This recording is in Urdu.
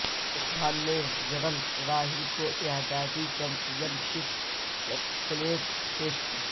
عامر خان نے جنرل راحیل کو اعزازی چیمپئن شپ بیلٹ پیش کی